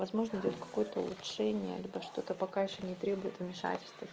возможно идёт какой-то улучшения либо что-то пока ещё не требует вмешательства